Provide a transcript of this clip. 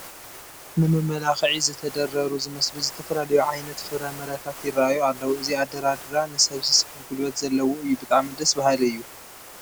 ንመመላክዒ ዝተደርደሩ ዝመስሉ ዝተፈላለዩ ዓይነት ፍረ ምረታት ይርኣዩ ኣለዉ፡፡ እዚ ኣደራድራ ንሰብ ዝስሕብ ጉልበት ዘለዎ እዩ፡፡ ብጣዕሚ ደስ በሃሊ እዩ፡፡